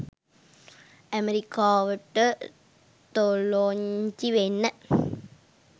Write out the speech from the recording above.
ඇමරිකාවට තොලොංචි වෙන්න